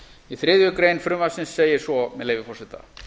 í þriðju greinar frumvarpsins segir svo með leyfi forseta